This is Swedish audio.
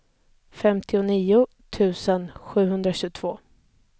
femtionio tusen sjuhundratjugotvå